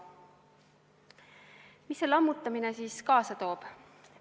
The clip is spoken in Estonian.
Mida see lammutamine siis kaasa toob?